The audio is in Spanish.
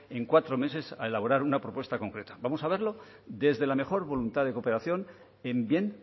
en cuatro meses a elaborar una propuesta concreta vamos a verlo desde la mejor voluntad de cooperación en bien